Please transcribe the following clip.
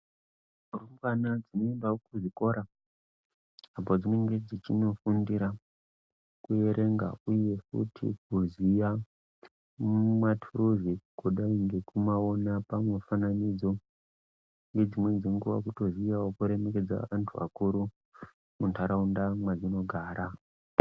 Rumbwana dzinoendawo kuzvikora apo dzinenge dzechinofundira kuerenga uye futi kuziya matuluzi kudai ngekumaona pamufananidzo uye dzimweni dzenguwa kutoziyawo kuremekedza antu akuru munharaunda mwadzinogara.